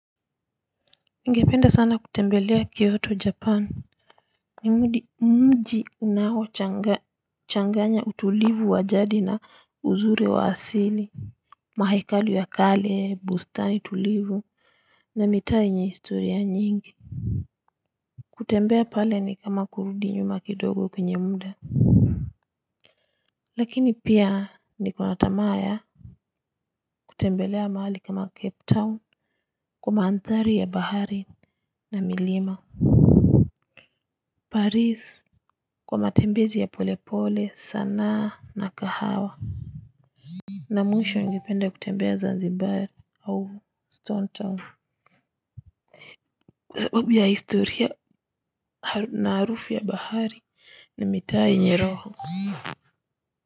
Ningependa sana kutembelea Kyoto Japan. Ni mji unaochanganya utulivu wa jadi na uzuri wa asili. Mahekalu ya kale, bustani tulivu na mitaa yenye historia nyingi. Kutembea pale ni kama kurudi nyuma kidogo kwenye mda. Lakini pia niko na tamaa ya. Kutembelea mahali kama Cape Town kwa maandhari ya bahari na milima. Paris kwa matembezi ya polepole, sanaa na kahawa. Na mwisho ningependa kutembea Zanzibar au Stone Town, kwa sababu ya historia na harufu ya bahari na mitaa yenye roho.